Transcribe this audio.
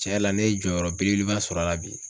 Cɛn yɛrɛ la ne ye jɔyɔrɔ belebeleba sɔrɔ a la bi